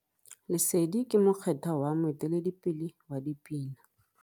Lesedi ke mokgethwa wa moeteledipele wa dipina.